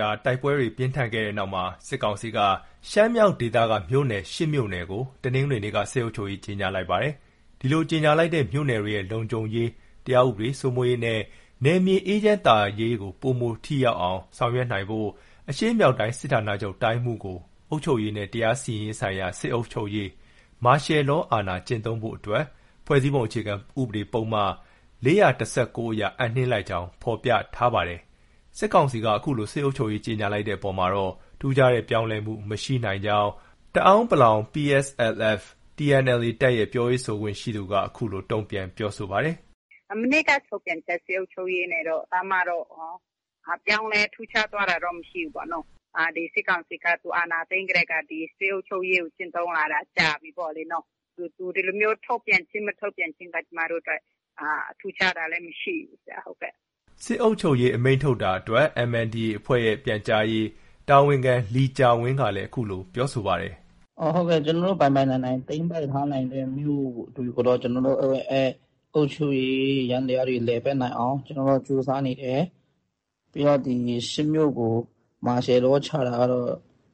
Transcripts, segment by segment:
ြာ တိုက်ပွဲတွေပြင်းထန်ခဲ့တဲ့နောက်မှာ စစ်ကောင်စီက ရှမ်းမြောက်ဒေသက မြို့နယ် ၈မြို့နယ်ကို တနင်္ဂနွေနေ့က စစ်အုပ်ချုပ်ရေး ကြေညာလိုက်ပါတယ်။ ဒီလိုကြေညာလိုက်တဲ့ မြို့နယ်တွေရဲ့ လုံခြုံရေး၊ တရားဥပဒေစိုးမိုးရေးနဲ့ နယ်မြေအေးချမ်းသာယာရေးကို ပိုမိုထိရောက်အောင် ဆောင်ရွက်နိုင်ဖို့ အရှေ့မြောက်တိုင်းစစ်ဌာနချုပ် တိုင်းမှုးကို အုပ်ချုပ်ရေးနဲ့ တရားစီရင်ရေးဆိုင်ရာ စစ်အုပ်ချုပ်ရေး အာဏာကျင့်သုံးဖို့အတွက် ဖွဲ့စည်းပုံအခြေခံ ဥပဒေ ပုဒ်မ ၄၁၉အရ အပ်နှင်းလိုက်ကြောင်းလည်း ဖော်ပြထားပါတယ်။ စစ်ကောင်စီက အခုလို စစ်အုပ်ချုပ်ရေး ကြေညာလိုက်တဲ့ အပေါ်မှာတော့ ထူးခြားတဲ့ ပြောင်းလဲမှု မရှိနိုင်ကြောင်း တအာင်း PSLF/ TNLA တပ်ရဲ့ ပြောရေးဆိုခွင့်ရှိသူက ခုလို တုန့်ပြန် ပြောဆိုပါတယ်။ “ မနေ့က ထုတ်ပြန်ချက် စစ်အုပ်ချုပ်ရေးနဲ့တော့ ပြောင်းလဲ ထူးခြားသွားတာတော့ မရှိဘူးပေါ့နော။ စစ်ကောင်စီက သူအာဏာသိမ်းကတည်းက စစ်အုပ်ချုပ်ရေးကို ကျင့်သုံးလာတာ ကြာပြီပေါ့လေနော။ သူဒီလိုမျိုး ထုတ်ပြန်ခြင်း၊ မထုတ်ပြန်ခြင်းက ကျမတို့အတွက် ထူးခြားတာလည်း မရှိဘူး။ ” စစ်အုပ်ချုပ်ရေး အမိန့်ထုတ်ပြန်တာ အတွက် MNDAA ရဲ့ ပြန်ကြားရေး တာဝန်ခံ လီကျာဝင်းကလည်း အခုလို ပြောဆိုပါတယ်။ “ ကျနော်တို့ ပိုင်ပိုင်နိုင်နိုင် သိမ်းနိုင်တဲ့မြို့တွေကိုတော့ ကျနော်တို့ရဲ့ အုပ်ချုပ်ရေးယန္တရားတွေ လည်ပတ်နိုင်အောင် ကြိုးစားနေတယ်။ ပြီးတော့ ဒီ ၈ မြို့ကို မာရှယ်လော ချတာကတော့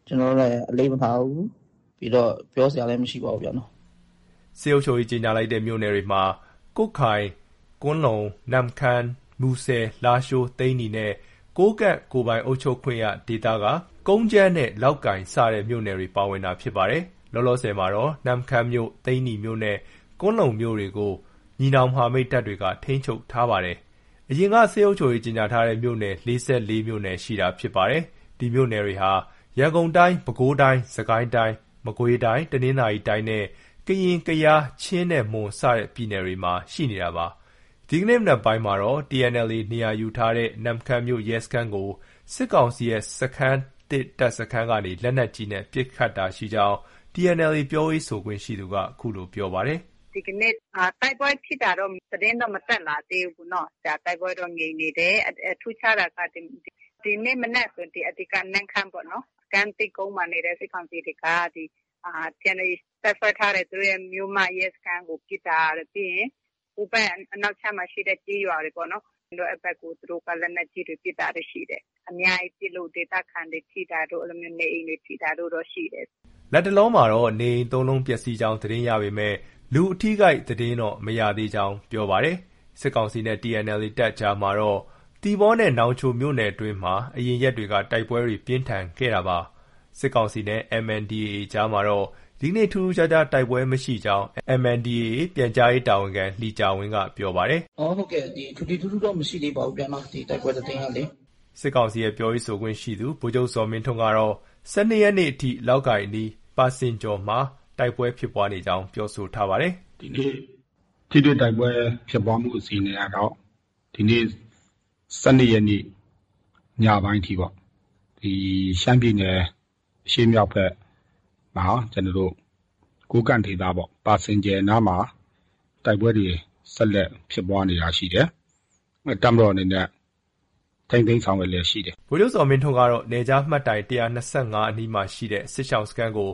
ကျနောတို့ အလေးမထားဘူး။ ပြီးတော့ ပြောစရာလည်း မရှိပါဘူး။ ” စစ်အုပ်ချုပ်ရေးကြေညာလိုက်တဲ့ မြို့နယ်တွေမှာ ကွတ်ခိုင်၊ ကွမ်းလုံ၊ နမ့်ခမ်း၊ မူဆယ်၊ လားရှိုး၊ သိန္နီနဲ့ ကိုးကန့်ကိုယ်ပိုင်အုပ်ချုပ်ခွင့်ရဒေသက ကုန်းကြမ်းနဲ့ လောက်ကိုင်စတဲ့ မြို့နယ်တွေ ပါဝင်တာ ဖြစ်ပါတယ်။ လောလောဆည်မှာတော့ နမ့်ခမ်းမြို့၊ သိန်းနီမြို့နဲ့ ကွမ်းလုံမြို့ တွေကို ညီနောင်မဟာမိတ်တပ်တွေက ထိန်းချုပ်ထားပါတယ်။ အရင်က စစ်အုပ်ချုပ်ရေး ကြေညာထားတဲ့မြို့နယ်က ၄၄ မြို့နယ်ရှိတာဖြစ်ပါတယ်။ ဒီမြို့နယ်တွေဟာ ရန်ကုန်တိုင်း၊ ပဲခူးတိုင်း၊ စစ်ကိုင်းတိုင်း၊ မကွေးတိုင်း၊ တနင်္သာရီတိုင်းနဲ့ ကရင်၊ ကယား၊ ချင်းနဲ့ မွန် စတဲ့ ပြည်နယ် တွေမှာရှိနေတာပါ။ ဒီကနေ့မနက်ပိုင်းမှာတော့ TNLA နေရာယူထားတဲ့ နမ့်ခမ်းမြို့ရဲစခန်းကို စစ်ကောင်စီရဲ့ စခန်းသစ်တပ်စခန်း ကနေ လက်နက်ကြီးနဲ့ပစ်ခတ်တာရှိကြောင်း TNLA ပြောရေးဆိုခွင့်ရှိသူက ပြောပါတယ်။ “ ဒီကနေ့ တိုက်ပွဲဖြစ်တာတော့ သတင်းတော့ မတက်လာသေးဘူး။ တိုက်ပွဲတော့ ငြိမ်နေတယ်။ ထူးခြားတာက ဒီနေ့မနက်ဆို အဓိက နမ့်ခမ်းပေါ့နော်။ စခန်းသစ်ကုန်းမှာနေတဲ့ စစ်ကောင်စီတွေက TNLA တပ်စွဲထားတဲ့ သူတို့ရဲ့ မြို့မ ရဲစခန်းကို ပစ်တာတို့ ၊ ပြီးရင် ဟိုဘက် အနောက်ခြမ်းမှာ ရှိတဲ့ကျေးရွာတွေပေါ့နော်။ အဲဒီဘက်ကို သူတို့က လက်နက်ကြီးတွေ ပစ်တာတွေ ရှိတယ်။ အများကြီး ပစ်လို့ ဒေသခံတွေ ထိတာတို့ နေအိမ်တွေ ထိတာတို့ ရှိတယ်။” လတ်တလောမှာတော့ နေအိမ် ၃လုံးပျက်ဆီးကြောင်း သတင်းရပေးမဲ့ လူအထိအခိုက်သတင်းတော့ မရသေးကြောင်း ပြောပါတယ်။ စစ်ကောင်စီနဲ့ TNLA တပ်အကြားမှာတော့ သီပေါနဲ့နောင်ချို မြို့နယ်အတွင်းမှာ အရင်ရက်တွေက တိုက်ပွဲတွေ ပြင်းထန်ခဲ့တာဖြစ်ပါတယ်။ စစ်ကောင်စီနဲ့ MNDAA အကြားမှာတော့ ဒီနေ့ ထူးထူးခြားခြား တိုက်ပွဲမရှိကြောင်း MNDAA ပြန်ကြားရေး တာဝန်ခံ လီကျာဝင်းက ပြောပါတယ်။ “ထွေထွေထူးထူးတော့ မရှိသေးပါဘူးဗျ။ တိုက်ပွဲသတင်းကလေ။” စစ်ကောင်စီရဲ့ ပြောရေးဆိုခွင့်ရှိသူ ဗိုလ်ချုပ်ဇော်မင်းထွန်းကတော့ ၁၂ရက်နေ့ အထိ လောက်ကိုင်အနီး ပါစင်ကျော်မှာ တိုက်ပွဲဖြစ်ပွားနေကြောင်း ပြောဆိုထားပါတယ်။ “ဒီနေ့ ထိတွေ့တိုက်ပွဲဖြစ်ပွားမှုအခြေအနေကတော့ ဒီနေ့ ၁၂ရက်နေ့ ညပိုင်းအထိပေါ့။ ရှမ်းပြည်နယ် အရှေ့မြောက်ဖက်မှာ ကျနော်တို့ ကိုးကန့်ဒေသပေါ့ ပါစင်ကြယ်နားမှာ တိုက်ပွဲတွေ ဆက်လက် ဖြစ်ပွားနေတာရှိတယ်။ တပ်မတော်အနေနဲ့ ထိန်းသိမ်းဆောင်ရွက်လျှက်ရှိတယ်။” ဗိုလ်ချုပ်ဇော်မင်းထွန်းကတော့ နယ်ခြားမှတ်တိုင် ၁၂၅ အနီးမှာရှိ စစ်ရှောင်စခန်းကို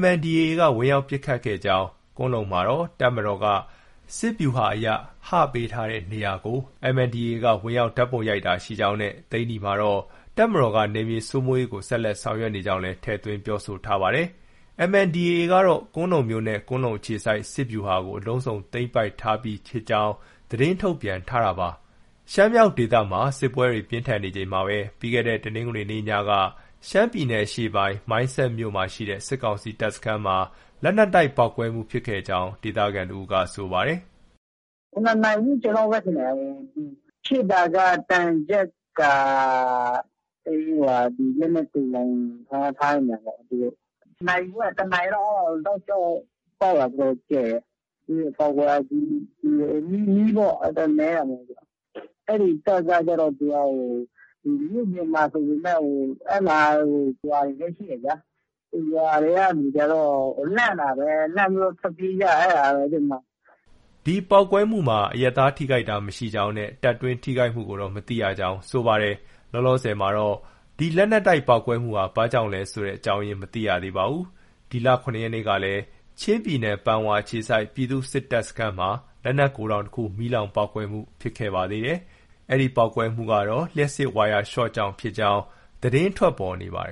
MNDAA က ဝင်ရောက်ပစ်ခတ်ခဲ့ကြောင်း၊ ကွမ်းလုံမှာတော့ တပ်မတော်က စစ်ဗျူဟာအရ ဟပေးထားတဲ့ နေရာကို MNDAA က ဝင်ရောက်ဓါတ်ပုံရိုက်တာရှိကြောင်းနဲ့ သိန်းနီမှာတော့ တပ်မတော်ကနယ်မြေစိုးမိုးရေးကို ဆက်လက် ဆောင်ရွက်နေကြောင်းလည်း ထည့်သွင်း ပြောဆိုထားပါတယ်။ MNDAA ကတော့ ကွမ်းလုံမြို့နဲ့ ကွမ်းလုံအခြေစိုက် စစ်ဗျူဟာကို အလုံးစုံသိမ်းပိုက်ထားပြီဖြစ်ကြောင်း သတင်းထုတ်ပြန်ထားတာပါ။ ရှမ်းမြောက်ဒေသမှာစစ်ပွဲတွေ ပြင်းထန်နေချိန်မှာပဲ ပြီးခဲ့တဲ့ တနင်္ဂနွေနေ့ ညက ရှမ်းပြည်နယ်အရှေ့ပိုင်း မိုင်းဆတ်မြို့ရှိ စစ်ကောင်စီတပ်စခန်းမှာ လက်နက်တိုက်ပေါက်ကွဲမှုဖြစ်ခဲ့ကြောင်း ဒေသခံတဦးက ပြောပါတယ်။ “ ၇နာရီ ဝန်းကျင်လောက်ပဲထင်တယ်။ ဖြစ်တာက သံချပ်ကာတပ်ရင်း လက်နက်သိုလှောင်ထားတဲ့နေရာမှာပေါ့။ နာရီဝက် တနာရီလောက် တောက်လျောက်ပေါက်တာ တော်တော်ကျယ်တယ်။ ပေါက်ကွဲအားကြီးပြီး မီးတော့ နည်းတာမဟုတ်ဘူး။ အဲဒီတပ်ကကျတော့ သူက မြို့ပြင်မှာဆိုပေမဲ့ အဲဒီမှာ ရွာတွေလည်း ရှိတယ်ဗျာ။ ရွာထဲက လူတွေကတော့ လန့်တာပဲ။ လန့်ပြီးတော့ ထွက်ပြေးကြတာ။” ဒီပေါက်ကွဲမှုမှာ အရပ်သား ထိခိုက်တာမရှိကြောင်းနဲ့ တပ်တွင်းထိခိုက်မှုကိုတော့ မသိရကြောင်း ပြောပါတယ်။ လောလောဆည်မှာတော့ ဒီလက်နက်တိုက်ပေါက်ကွဲမှုဟာ ဘာကြောင့်ဆိုတာ မသိရသေးပါဘူး။ ဒီလ ၇ရက်နေ့ကလည်း ကချင်ပြည်နယ် ပန်ဝါအခြေစိုက် ပြည်သူ့စစ်တပ်စခန်းမှာ လက်နက်ဂိုဒေါင်တခုမီးလောင်ပေါက်ကွဲမှုဖြစ်ခဲ့ပါတယ်။ ဒီပေါက်ကွဲမှုကတော့ ဝါယာရှော့ကြောင့် ဖြစ်ကြောင်း သတင်းထွက်ပေါ်နေပါတယ်